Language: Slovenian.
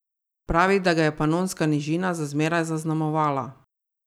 Pravi, da ga je Panonska nižina za zmeraj zaznamovala.